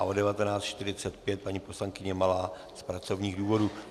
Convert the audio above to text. A od 19.45 paní poslankyně Malá z pracovních důvodů.